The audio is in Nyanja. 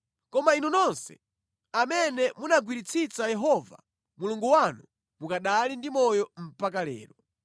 Koma inu nonse amene munagwiritsitsa Yehova Mulungu wanu mukanali ndi moyo mpaka lero.